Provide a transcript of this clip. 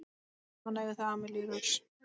Saman eiga þau Amelíu Rós.